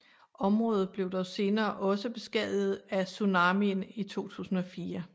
Området blev dog senere også beskadiget af tsunamien i 2004